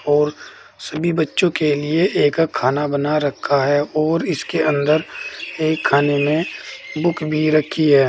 और सभी बच्चों के लिए एक खाना बना रखा है और इसके अंदर एक खाने में बुक भी रखी है।